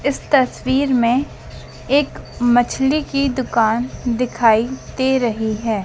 इस तस्वीर मे एक मछली की दुकान दिखाई दे रही है।